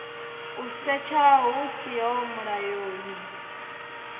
u setsha hu siho mulayoni